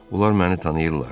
Onlar məni tanıyırlar.